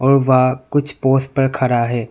वह कुछ पोज पर खड़ा है।